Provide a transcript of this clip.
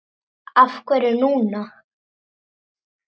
Af hverju núna?